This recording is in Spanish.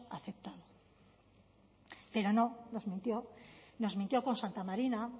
aceptado pero no nos mintió nos mintió con santa marina